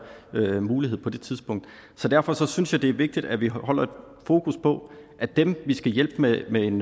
mulighed på det tidspunkt så derfor synes jeg det er vigtigt at vi holder fokus på at dem vi skal hjælpe med en